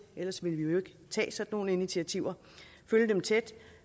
ellers ville vi jo ikke tage nogle initiativer